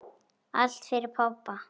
Allt fyrir pabba.